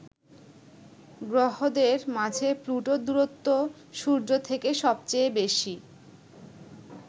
গ্রহদের মাঝে প্লুটোর দূরত্ব সূর্য থেকে সবচেয়ে বেশি।